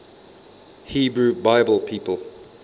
hebrew bible people